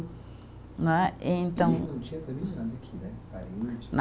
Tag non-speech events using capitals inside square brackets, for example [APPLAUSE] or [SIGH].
Né e então. [UNINTELLIGIBLE]